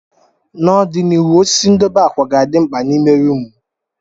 N'ọdịnihu, osisi ndobe akwa ga-adị mkpa n'ime rumụ.